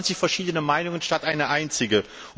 27 verschiedene Meinungen anstatt einer einzigen.